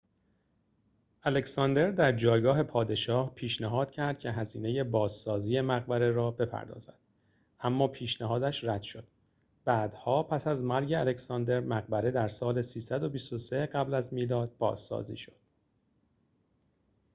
الکساندر در جایگاه پادشاه پیشنهاد کرد که هزینه بازسازی مقبره را بپردازد اما پیشنهادش رد شد بعدها پس از مرگ الکساندر مقبره در سال ۳۲۳ قبل از میلاد بازسازی شد